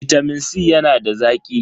Bitamin C yana da zaki.